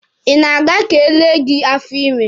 Ị na-aga ka e lee gị afọ ime?